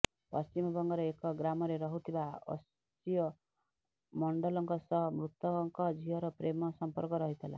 ପଶ୍ଚିମବଙ୍ଗର ଏକ ଗ୍ରାମରେ ରହୁଥିବା ଅଶ୍ଚିୟ ମଣ୍ଡଲଙ୍କ ସହ ମୃତକ ଝିଅର ପ୍ରେମ ସଂପର୍କ ରହିଥିଲା